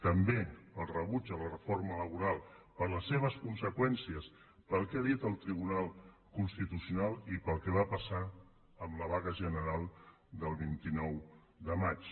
també el rebuig de la reforma laboral per les seves conseqüències pel que ha dit el tribunal constitucional i pel que va passar amb la vaga general del vint nou de març